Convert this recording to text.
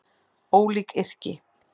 Ólík yrki